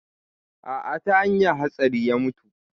A'a ta hanyan hatsari ya mutu